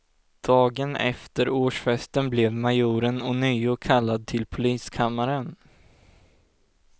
Dagen efter årsfesten blev majoren ånyo kallad till poliskammaren.